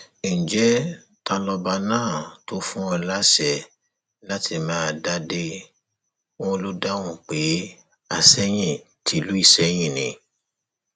ǹjẹ ta lọba náà tó fún ọ láṣẹ láti máa dádì wọn ló dáhùn pé àsẹyìn tìlú ìsẹyìn ni